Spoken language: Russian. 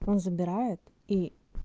он забирает и